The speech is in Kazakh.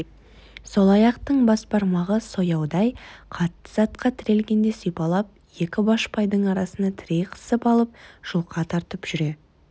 сол аяқтың бас бармағы сояудай қатты затқа тірелгенде сипалап екі башпайдың арасына тірей қысып алып жұлқа тартып жүре